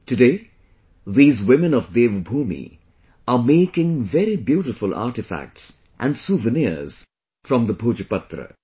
Today, these women of Devbhoomi are making very beautiful artefacts and souvenirs from the Bhojpatra